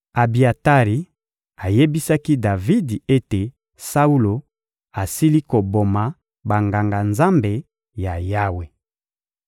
Abiatari ayebisaki Davidi ete Saulo asili koboma Banganga-Nzambe ya Yawe.